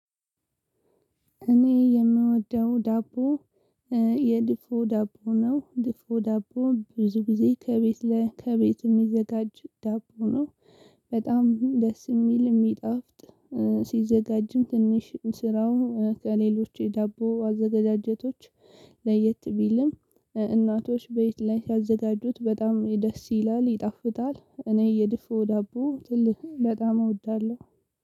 እኔ የምወደው ዳቦ የድፎ ዳቦ ነው ድፎ ዳቦ ብዙ ጊዜ ከቤት ላይ ከቤት የሚዘጋጅ ዳቦ ነው። በጣም ደስ የሚል የሚጣፍጥ ሲዘጋጅም ትንሽ ስራውም ከሌሎች የዳቦ አዘጋጃጀቶች። ለየት ቢልም እናቶች ቤት ላይ ሲያዘጋጁት በጣም ደስ ይላል ይጣፍጣል እኔ የድፎ ዳቦ ትልቅ በጣም እወዳለሁ።